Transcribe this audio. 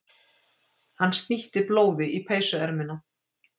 Hann snýtti blóði í peysuermina.